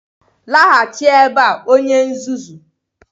laghachi ebea onye nzuzu!